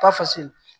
Ba fasigi